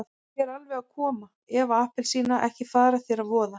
Ég er alveg að koma Eva appelsína, ekki fara þér að voða.